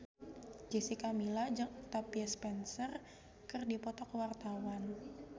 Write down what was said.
Jessica Milla jeung Octavia Spencer keur dipoto ku wartawan